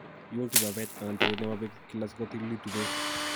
iun kibabet/tereet nebo beek kila sikotilitu beek